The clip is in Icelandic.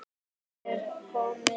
Er komið skip?